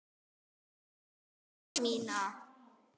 Við hlið mína.